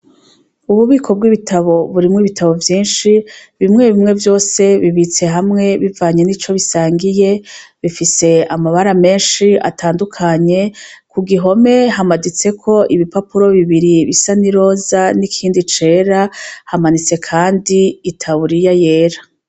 Ububiko bw'ibitabo burimwo ibitabo vyinshi bimwe bimwe vyose bibitse hamwe bivanye ni co bisangiye bifise amabara menshi atandukanye ku gihome hamaditseko ibipapuro bibiri bisa n'i roza n'ikindi cera hamanitse kandi itawuriya yera.